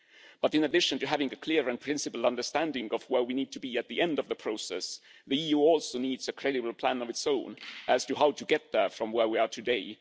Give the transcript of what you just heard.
But, in addition to having a clear and principled understanding of where we need to be at the end of the process, the EU also needs a credible plan of its own on how to get there from where we are today.